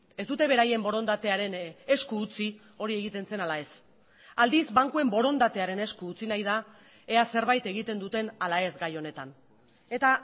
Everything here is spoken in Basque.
ez dute beraien borondatearen esku utzi hori egiten zen ala ez aldiz bankuen borondatearen esku utzi nahi da ea zerbait egiten duten ala ez gai honetan eta